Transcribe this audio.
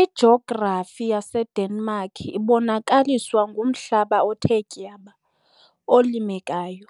Ijografi yaseDenmark ibonakaliswa ngumhlaba othe tyaba, olimekayo,